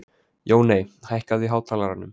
Jóney, hækkaðu í hátalaranum.